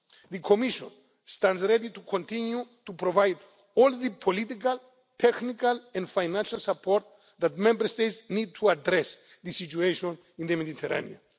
policy. The Commission stands ready to continue to provide all the political, technical and financial support that Member States need to address the situation in the Mediterranean.